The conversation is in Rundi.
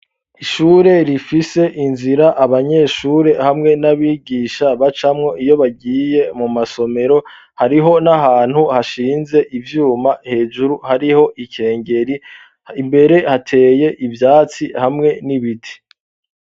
ishure rifise inzira abanyeshure hamwe n'abigisha bacamwo iyo bagiye mu masomero hariho n'ahantu hashinze ivyuma hejuru hariho ikengeri imbere hateye ivyatsi hamwe n'ibiti